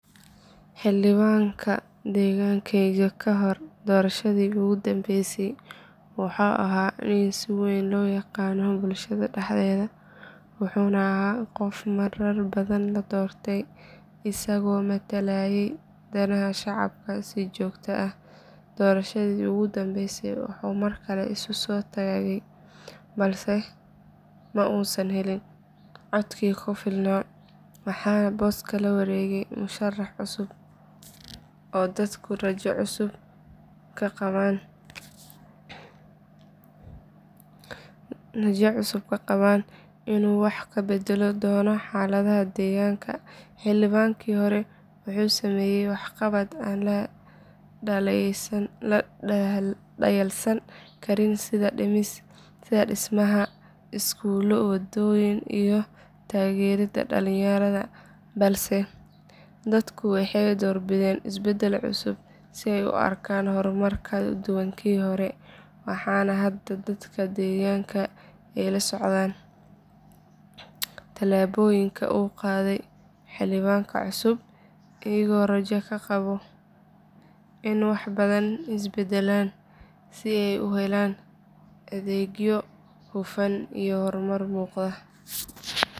Xildhibaanka deegaankaayga ka hor doorashadii ugu dambeysay wuxuu ahaa nin si weyn loo yaqaanay bulshada dhexdeeda wuxuu ahaa qof marar badan la doortay isagoo matalayay danaha shacabka si joogto ah doorashadii ugu dambeysay wuxuu mar kale isu soo taagay balse ma uusan helin codkii ku filnaa waxaana booska la wareegay musharrax cusub oo dadku rajo cusub ka qabeen in uu wax ka beddeli doono xaaladda deegaanka xildhibaankii hore wuxuu sameeyay waxqabad aan la dhayalsan karin sida dhismaha iskuullo wadooyin iyo taageeridda dhalinyarada balse dadku waxay doorbideen isbeddel cusub si ay u arkaan horumar ka duwan kii hore waxaana hadda dadka deegaanka ay la socdaan talaabooyinka uu qaaday xildhibaanka cusub iyagoo rajo ka qaba in wax badan isbedelaan si ay u helaan adeegyo hufan iyo horumar muuqda.